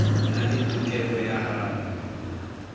na le tokelo ya ho